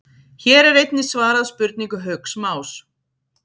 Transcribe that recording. Hér er einnig svarað spurningu Hauks Más: